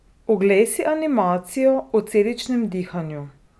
Oglej si animacijo o celičnem dihanju.